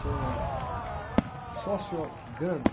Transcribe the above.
Chama sociograma.